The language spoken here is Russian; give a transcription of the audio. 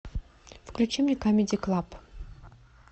включи мне камеди клаб